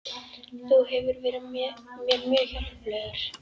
Þú hefur verið mér mjög hjálplegur